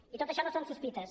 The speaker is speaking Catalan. i tot això no són sospites